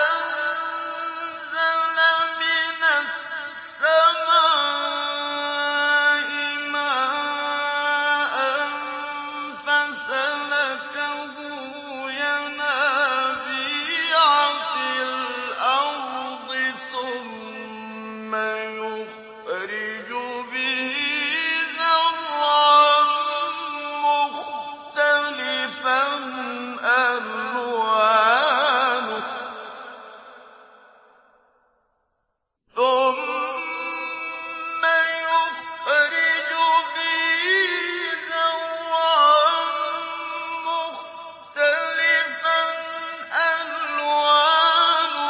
أَنزَلَ مِنَ السَّمَاءِ مَاءً فَسَلَكَهُ يَنَابِيعَ فِي الْأَرْضِ ثُمَّ يُخْرِجُ بِهِ زَرْعًا مُّخْتَلِفًا أَلْوَانُهُ